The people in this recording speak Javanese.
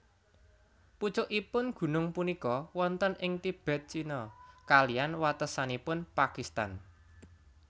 Pucukipun gunung punika wonten ing Tibet China kaliyan watesanipun Pakistan